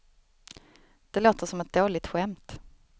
Det låter som ett dåligt skämt.